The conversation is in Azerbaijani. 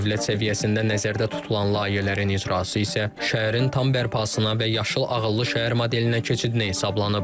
Dövlət səviyyəsində nəzərdə tutulan layihələrin icrası isə şəhərin tam bərpasına və Yaşıl ağıllı şəhər modelinə keçidinə hesablanıb.